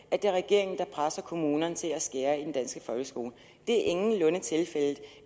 at det er regeringen der presser kommunerne til at skære ned på den danske folkeskole det er ingenlunde tilfældet